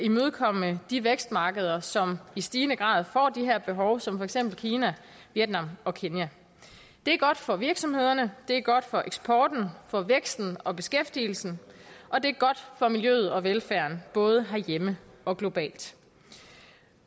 imødekomme de vækstmarkeder som i stigende grad får de her behov som for eksempel kina vietnam og kenya det er godt for virksomhederne det er godt for eksporten for væksten og beskæftigelsen og det er godt for miljøet og velfærden både herhjemme og globalt